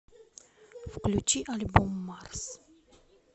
включи альбом марс